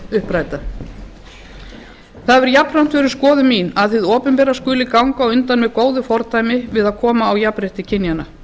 uppræta það hefur jafnframt verið skoðun mín að hið opinbera skuli ganga á undan með góðu fordæmi við að koma á jafnrétti kynjanna